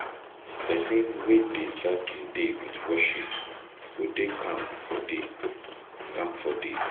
Pesin wey dey start im day with worship go dey calm for day. calm for day.